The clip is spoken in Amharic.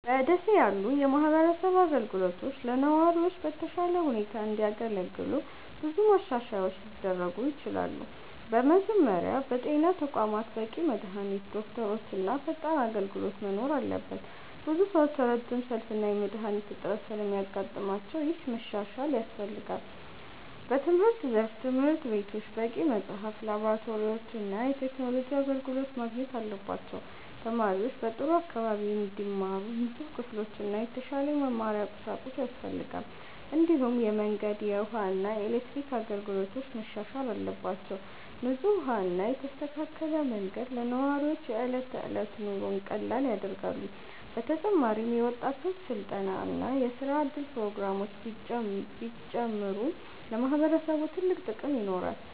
በ ደሴ ያሉ የማህበረሰብ አገልግሎቶች ለነዋሪዎች በተሻለ ሁኔታ እንዲያገለግሉ ብዙ ማሻሻያዎች ሊደረጉ ይችላሉ። በመጀመሪያ በጤና ተቋማት በቂ መድሃኒት፣ ዶክተሮች እና ፈጣን አገልግሎት መኖር አለበት። ብዙ ሰዎች ረጅም ሰልፍ እና የመድሃኒት እጥረት ስለሚያጋጥማቸው ይህ መሻሻል ያስፈልጋል። በትምህርት ዘርፍም ትምህርት ቤቶች በቂ መጽሐፍት፣ ላብራቶሪዎች እና የቴክኖሎጂ አገልግሎት ማግኘት አለባቸው። ተማሪዎች በጥሩ አካባቢ እንዲማሩ ንጹህ ክፍሎችና የተሻለ የመማሪያ ቁሳቁስ ያስፈልጋል። እንዲሁም የመንገድ፣ የውሃ እና የኤሌክትሪክ አገልግሎቶች መሻሻል አለባቸው። ንጹህ ውሃ እና የተስተካከለ መንገድ ለነዋሪዎች የዕለት ተዕለት ኑሮን ቀላል ያደርጋሉ። በተጨማሪም የወጣቶች ስልጠና እና የስራ እድል ፕሮግራሞች ቢጨምሩ ለማህበረሰቡ ትልቅ ጥቅም ይኖራል።